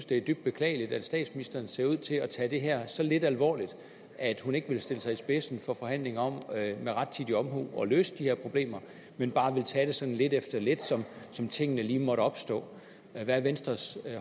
det er dybt beklageligt at statsministeren ser ud til at tage det her så lidt alvorligt at hun ikke vil stille sig i spidsen for forhandlinger om med rettidig omhu at løse de her problemer men bare vil tage det sådan lidt efter lidt som som tingene lige måtte opstå hvad er venstres